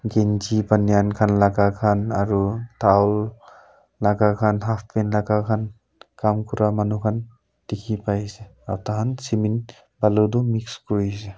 kinji banyan khan laga khan aro towel laga khan half pant laga khan kaam kura manu khan dikhi pai ase aro taihan cemin balu tu mix kure ase.